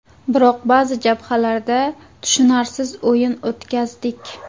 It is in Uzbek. Biroq ba’zi jabhalarda tushunarsiz o‘yin o‘tkazdik.